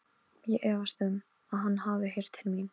Ég efast um, að hann hafi heyrt til mín.